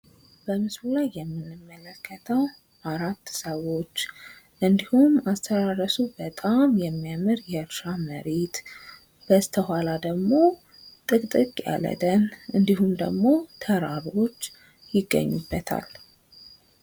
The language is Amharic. በምስሉ ላይ የምንመለከተው አራት ሰዎች እንድሁም አስተራረሱ በጣም የሚያምር የእርሻ መሬት በስተኋላ ደግሞ ጥቅጥቅ ያለ ደን እንድሁም ደግሞ ተራሮች ይገኙበታል።